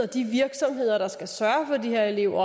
de virksomheder der skal sørge for de her elever